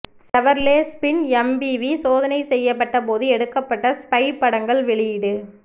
Chevrolet spin MPV சோதனை செய்யபட்ட போது எடுக்கபட்ட ஸ்பை படங்கள் வெளியீடு